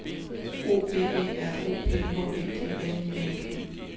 O V E R O P H E D N I N G